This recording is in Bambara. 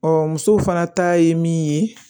musow fana ta ye min ye